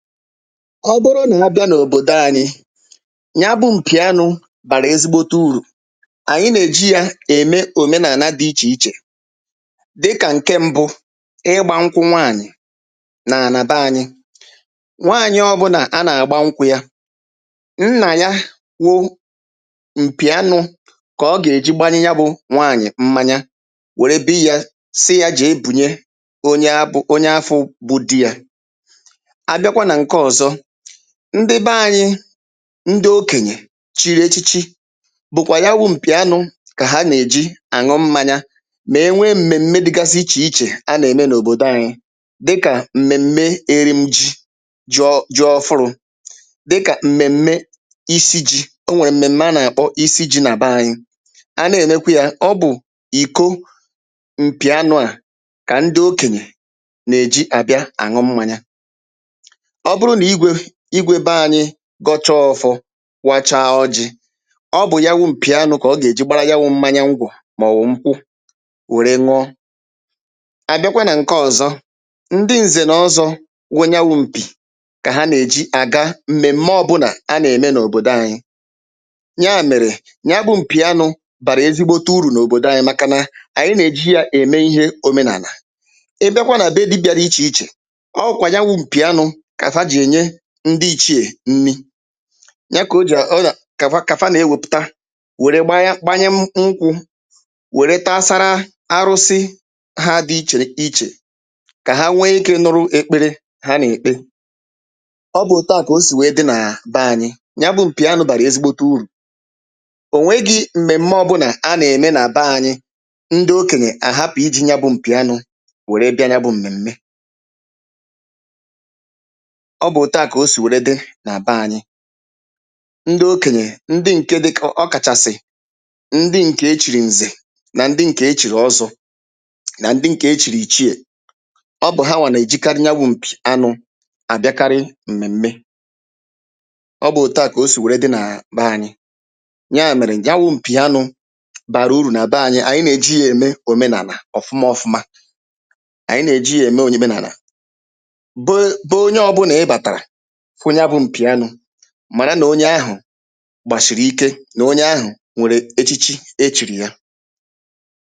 ọ bụrụ nà abịa n’òbòdo ānyị̄ nya bụ̄ m̀pì anụ̄ bàrà ezigbote urù ànyị nà-èji yā ème òmenàna dị ichè ichè dịkà ǹke mbụ, ịgbā nkwụ nwaànyị̀ n’ànà be ānyị̄ nwaànyị ọbụnà a nà-àgba nkwụ̄ ya nnà ya wụ̄ m̀pì anụ̄ kà ọ gà-èji gbanye ya bụ̄ nwaànyị̀ mmanya wère biyi yā sị yā jèe bùnye onye abụ̄ onye afụ̄ bụ di yā abịakwa nà ǹke ọ̀zọ ndị be ānyị̄ ndị okènyè chiri echiche bụ̀kwà ya wụ̄ m̀pì anụ̄ kà ha nà-èji àṅụ mmānyā mà e nwee m̀mèm̀me dịgasị ichè ichè a nà-ème n’òbòdo ānyị̄̄ dịkà m̀mèm̀me erim jī jọ jọ ọfụrụ̄ dɪ́kà m̄mèm̀mé isi jī o nwèrè m̀mèm̀me anà-àkpọ isi jī nà be ānyị̄ a na-ènekwi yā ọ bụ̀ ìko m̀pì anụ̄ à kà ndị okènyè nà-èji àbịa àn̄ụ mmānyā ọ bụrụ nà igwē igwē be ānyị̄ gọchaa ọ̄fọ̄ wachaa ọjị̄ ọ bụ̀ ya wụ̄ m̀pì anụ̄ kà ọ gà-èji gbara ya wụ̄ mmanya ngwọ̀ mọ̀wụ̀ nkwụ wère n̄ụọ à bịakwa nà ǹke ọ̀zọ ndị ǹzè nà ọzọ̄ nwe ya wụ̄ m̀pì kà ha nà-èji àga m̀mèm̀me ọbụnà a nà-ème n’òbòdo ȧnyị̄ nyaà mèrè nya bụ̄ m̀pì anụ̄ bàrà ezigbote urù n’òbòdo ānyị̄ màkànà ànyị nà-èji yā ème ihe omenàlà ị bịakwa nà be dibị̄ā dị ichè ichè ọ wụ̀kwà ya wụ̄ m̀pì anụ̄ kà fa jì ènye ndị ichiè nni nya kò ja ọnà kà fa kà fa nà-ewēpụ̀ta wère gbanya gbanye nkwụ̄ wère tasara arụsị hā dị ichè ichè kà ha nwee ikē nụrụ ekpere ha nà-èkpe ọ bụ̀ òtuà kà o sì wèe dị nà be ānyị̄, nya bụ̄ m̀pì anụ̄ bàrà ezigbote urù ònwegī m̀mèm̀me ọbụnà a nà-ème nà be ānyị̄ ńdɪ́ ókèɲè àɦápʊ̀ íʤī ɲá bʊ̄ m̀pì ánʊ̄ wère bịa nya bụ̄ m̀mèm̀me ọ bụ̀ òtuà kà o sì wère dị nà be ānyị̄ ndị okènyè ndị ǹke dịkà ọ kàchàsị̀ ndị ǹkè e chìrì ǹzè nà ndi̇ ǹkè e chìrì ọzọ̄ nà ndị ǹkè e chìrì ìchiè ọ bụ̀ ha wà nà-èjekarị nya wụ̄ m̀pì anụ̄ àbịakarị m̀mèm̀me ọ bụ̀ òtuà kà o sì wère dị nàà be ānyị̄ nyaà mèrè nya wụ̄ m̀pì anụ̄ bàrà urù nà be ānyị̄, ànyị nà-èji yā ème òmenànà ọ̀fụma ọfụma ànyị nà-èji yā ème ònyíménànà be be onye ọbụnà ị batàrà fụ nya bụ̄ m̀pì anụ̄ màra nà onye ahụ̀ gbàshìrì ike nà onye ahụ̀ nwèrè echichi e chìrì ya